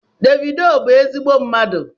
Davido bụ ezigbo mmadụ